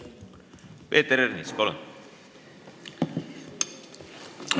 Peeter Ernits, palun!